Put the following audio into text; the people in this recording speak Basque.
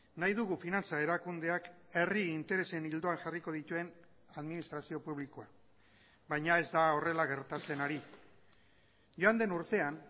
nahi dugu finantza erakundeak herri interesen ildoan jarriko dituen administrazio publikoa baina ez da horrela gertatzen ari joan den urtean